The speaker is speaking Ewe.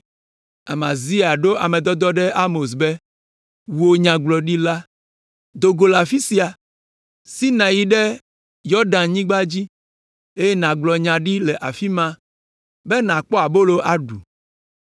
Amazia ɖo ame dɔdɔwo ɖe Amos be, “Wò, nyagblɔɖila, do go le afi sia! Si nàyi ɖe Yudanyigba dzi, eye nàgblɔ nya ɖi le afi ma be nàkpɔ abolo aɖu.